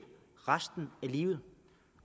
hen